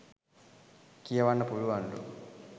කියවන්න පුලුවන්ලු.